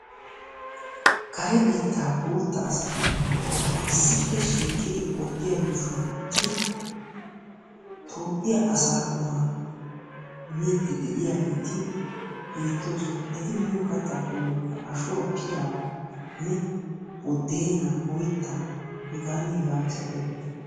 Kare biittaa boottaa asati issippe shiiqidi oydiya yuushuwan uttidi Toophphiyaa asaa qummaa miidi de'iyaageeti beettoosona. Eti miyo kattaa qommoykka ashuwa pilaanne bodeenaa oyttaa hegaanne hegaa masattiyaageeta.